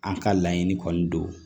An ka laɲini kɔni don